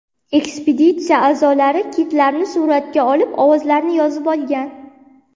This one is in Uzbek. Ekspeditsiya a’zolari kitlarni suratga olib, ovozlarini yozib olgan.